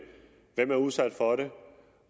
hvem der er udsat for det